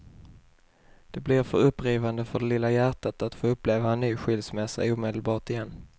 Det blir för upprivande för det lilla hjärtat att uppleva en ny skilsmässa omedelbart igen.